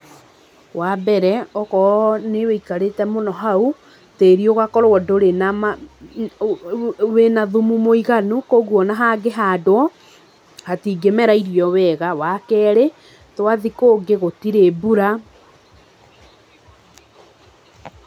Wambere, oko nĩwũikarĩte mũno hau, tĩri ũgakorwo ndũrĩ na ma, wĩna thumu mũiganu, koguo ona hangĩhandwo, hatingĩmera irio wega, wa kerĩ, twathi kũngĩ gũtirĩ mbura